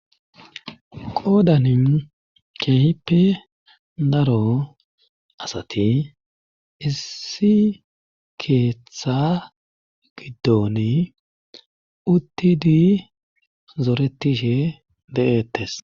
qodanin keehippe naro asati issi keeththttha giddoni uttidi zoretishe de7ettes